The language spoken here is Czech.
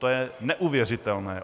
To je neuvěřitelné.